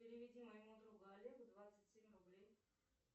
переведи моему другу олегу двадцать семь рублей